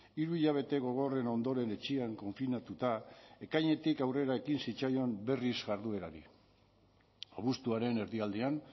hiru hilabete gogorren ondoren etxean konfinatuta ekainetik aurrera ekin zitzaion berriz jarduerari abuztuaren erdialdean